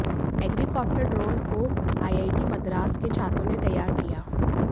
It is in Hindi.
एग्रीकॉप्टर ड्रोन को आईआईटी मद्रास के छात्रों ने तैयार किया